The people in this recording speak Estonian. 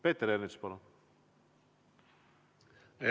Peeter Ernits, palun!